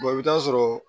i bɛ taa sɔrɔ